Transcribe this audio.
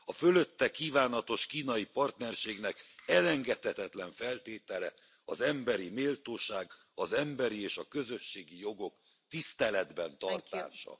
A fölötte kívánatos kínai partnerségnek elengedhetetlen feltétele az emberi méltóság, az emberi és a közösségi jogok tiszteletben tartása.